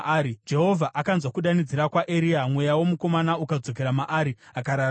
Jehovha akanzwa kudanidzira kwaEria, mweya womukomana ukadzokera maari, akararama.